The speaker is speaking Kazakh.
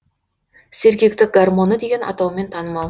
сергектік гормоны деген атаумен танымал